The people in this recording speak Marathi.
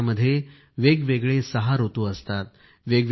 आपल्या देशामध्ये वेगवेगळे सहा ऋतू असतात